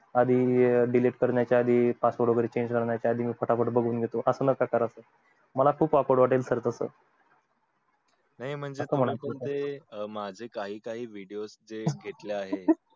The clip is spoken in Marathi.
आणि delete करण्या च्या आधी password change करण्या च्या आधी मी फाटा फट बगुन घेतो असं नका करू मला ते खूप akword वाटेल sir तसं नाही म्हणजे